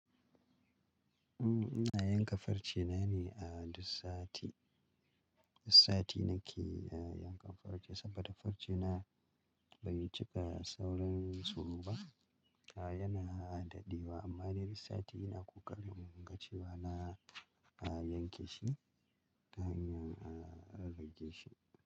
Uhm, ina yanka farcena ne a duk sati. Duk sati nake, yankan farce saboda farce na bai cika saurin tsirowa ba. A, yana dadewa, amma dai duk sati ina ƙoƙarin in ga cewa na, a, yanke shi, domin a rage shi.